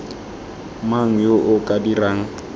mang yo o ka dirang